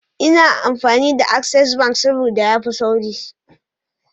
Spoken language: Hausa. Ina amfani da access bank sabda yafi sauri